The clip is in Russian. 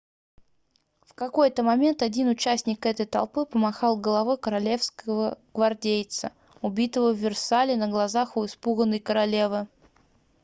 в какой-то момент один участник этой толпы помахал головой королевского гвардейца убитого в версале на глазах у испуганной королевы